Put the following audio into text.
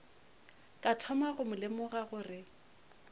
ka thoma go lemoga gore